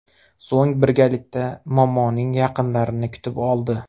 So‘ng birgalikda momoning yaqinlarini kutib oldi.